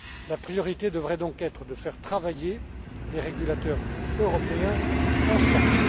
La priorité devrait donc être de faire travailler les régulateurs européens ensemble.